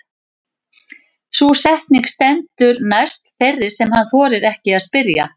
Sú setning stendur næst þeirri sem hann þorir ekki að spyrja.